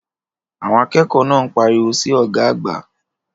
Àwọn akẹ́kọ̀ọ́ náà ń pariwo sí ọ̀gá àgbà.